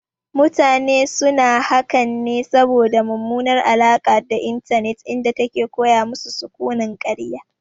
Mutane suna hakan ne saboda mummunar alaƙa da intanet inda take koya masu sukunin karya